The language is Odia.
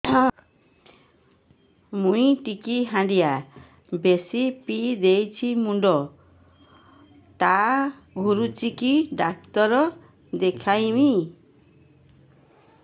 ମୁଇ ଟିକେ ହାଣ୍ଡିଆ ବେଶି ପିଇ ଦେଇଛି ମୁଣ୍ଡ ଟା ଘୁରୁଚି କି ଡାକ୍ତର ଦେଖେଇମି